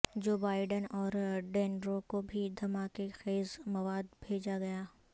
جو بائیڈن اور ڈنیرو کو بھی دھماکہ خیز مواد بھیجا گیا